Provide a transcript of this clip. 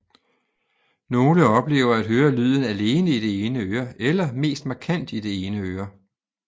Nogle oplever at høre lyden alene i det ene øre eller mest markant i det ene øre